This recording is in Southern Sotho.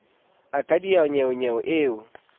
o ka diha nnyeonyeo o